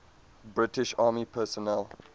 british army personnel